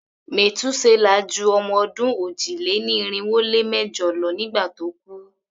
Metuselah ju ọmọ-ọdún òjì-lé-ní-irinwó-lé-mẹ́jọ lọ nígbà tó kú.